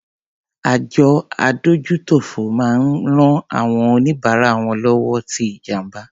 Àjọ adójútòfò máa ń rán àwọn oníbárà wọn lọ́wọ́ tí ìjàǹbá.